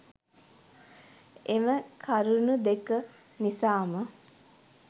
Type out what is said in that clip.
එම කරුනු දෙක නිසාම